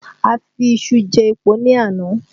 A fi iṣu jẹ́ epo ní àná